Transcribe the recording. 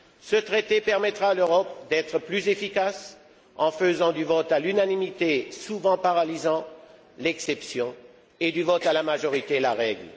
Ce Traité permettra à l'Europe d'être plus efficace en faisant du vote à l'unanimité, souvent paralysant, l'exception, et du vote à la majorité, la règle.